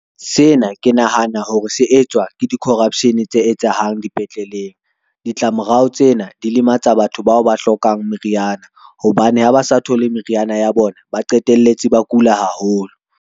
Sena ke nahana hore se etswa ke di-corruption tse etsahalang dipetleleng. Ditla morao tsena di lematsa batho bao ba hlokang meriana hobane ha ba sa thole meriana ya bona, ba qetelletse ba kula haholo.